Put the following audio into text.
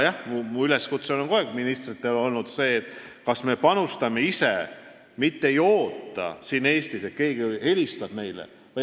Ja minu üleskutse ministritele on kogu aeg olnud see, kas me panustame ise või ootame siin Eestis, et keegi helistab meile.